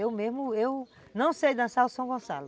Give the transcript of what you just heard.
Eu mesmo, eu não sei dançar o São Gonçalo.